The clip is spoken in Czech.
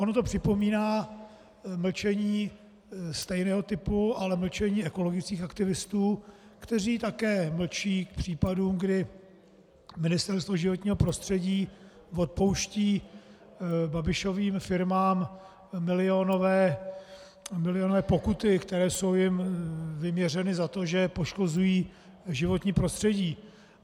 Ono to připomíná mlčení stejného typu, ale mlčení ekologických aktivistů, kteří také mlčí k případům, kdy Ministerstvo životního prostředí odpouští Babišovým firmám milionové pokuty, které jsou jim vyměřeny za to, že poškozují životní prostředí.